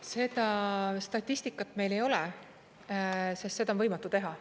Seda statistikat meil ei ole, sest seda on võimatu teha.